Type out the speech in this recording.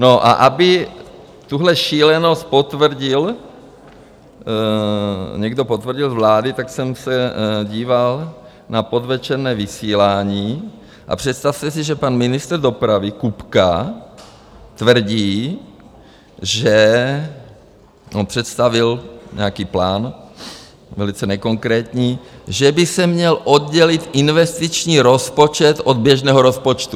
No a aby tuto šílenost potvrdil, někdo potvrdil z vlády, tak jsem se díval na podvečerní vysílání, a představte si, že pan ministr dopravy Kupka tvrdí, že on představil nějaký plán velice nekonkrétní, že by se měl oddělit investiční rozpočet od běžného rozpočtu.